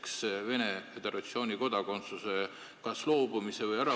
Kas nad peavad loobuma Venemaa Föderatsiooni kodakondsusest?